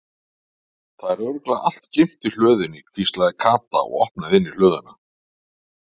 Það er örugglega allt geymt í hlöðunni hvíslaði Kata og opnaði inn í hlöðuna.